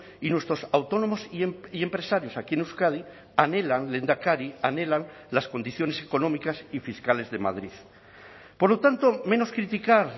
y nuestros autónomos y empresarios aquí en euskadi anhelan lehendakari anhelan las condiciones económicas y fiscales de madrid por lo tanto menos criticar